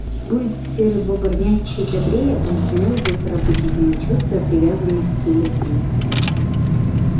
будь серый бобр мягче и добрее он сумел бы пробудить в нём чувство привязанности и любви